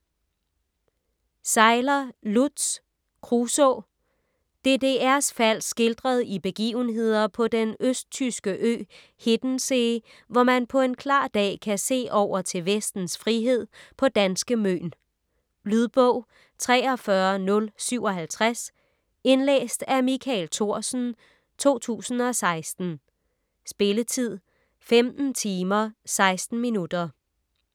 Seiler, Lutz: Kruso DDR's fald skildret i begivenheder på den østtyske ø Hiddenssee, hvor man på en klar dag kan se over til vestens frihed på danske Møn. Lydbog 43057 Indlæst af Michael Thorsen, 2016. Spilletid: 15 timer, 16 minutter.